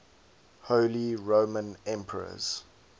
holy roman emperors